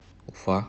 уфа